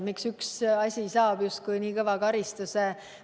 Miks mõni asi saab justkui liiga kõva karistuse?